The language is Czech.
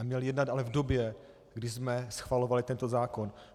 A měl jednat ale v době, kdy jsme schvalovali tento zákon.